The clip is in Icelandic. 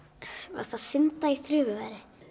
varstu að synda í þrumuveðri